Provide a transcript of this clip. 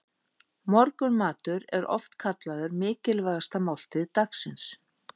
Morgunmatur er oft kallaður mikilvægasta máltíð dagsins.